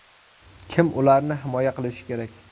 Kim ularni himoya qilishi kerak?